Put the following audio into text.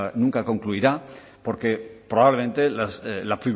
nunca concluirá porque probablemente la